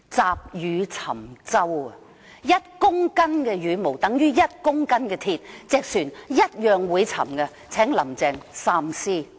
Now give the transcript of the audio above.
積羽沉舟，一公斤的羽毛等於一公斤的鐵，船同樣會沉，請"林鄭"三思。